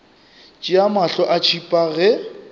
tšea mahlo a tšhipa ge